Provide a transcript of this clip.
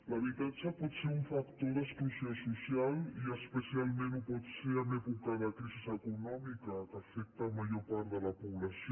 l’habitatge pot ser un factor d’exclusió social i especialment ho pot ser en època de crisi econòmica que afecta major part de la població